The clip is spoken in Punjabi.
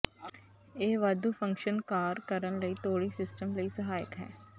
ਇਹ ਵਾਧੂ ਫੰਕਸ਼ਨ ਕਾਰ ਕਰਨ ਲਈ ਤੋੜੀ ਸਿਸਟਮ ਲਈ ਸਹਾਇਕ ਹੈ